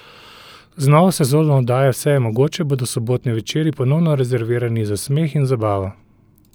Z novo sezono oddaje Vse je mogoče bodo sobotni večeri ponovno rezervirani za smeh in zabavo!